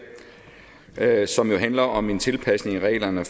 her som jo handler om en tilpasning af reglerne